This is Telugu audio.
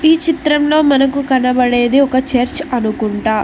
ఈ చిత్రంలో మనకు కనబడేది ఒక చర్చ్ అనుకుంట.